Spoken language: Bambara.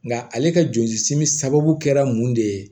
Nka ale ka joli simi sababu kɛra mun de ye